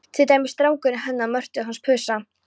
Til dæmis strákurinn hennar Mörtu hans Pusa.